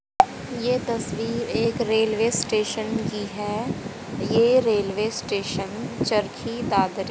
यह तस्वीर एक रेलवे स्टेशन की है ये रेलवे स्टेशन चरखी दादरी--